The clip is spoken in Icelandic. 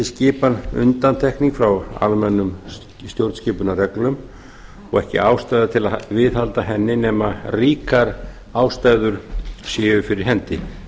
skipan undantekning frá almennum stjórnskipunarreglum og ekki ástæða til að viðhalda henni nema ríkar ástæður séu fyrir hendi